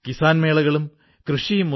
മെക്സിക്കോയിടെ ഒരു സ്ഥലമാണ് ഓഹാകാ